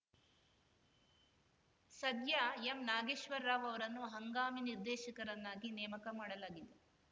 ಸದ್ಯ ಎಂನಾಗೇಶ್ವರ ರಾವ್‌ ಅವರನ್ನು ಹಂಗಾಮಿ ನಿರ್ದೇಶಕರನ್ನಾಗಿ ನೇಮಕಮಾಡಲಾಗಿದೆ